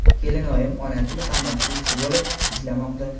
kelinoyim ona tili fani o‘qituvchisi bo‘lib ishlashmoqda.